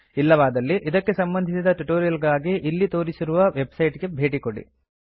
ಇಲ್ಲವಾದಲ್ಲಿ ಇದಕ್ಕೆ ಸಂಬಂಧಿಸಿದ ಟ್ಯುಟೋರಿಯಲ್ ಗಾಗಿ ಇಲ್ಲಿ ತೋರಿಸಿರುವ ವೆಬ್ಸೈಟ್ ಗೆ ಭೇಟಿಕೊಡಿ